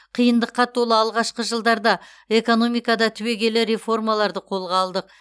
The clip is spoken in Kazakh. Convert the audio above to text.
қиындыққа толы алғашқы жылдарда экономикада түбегейлі реформаларды қолға алдық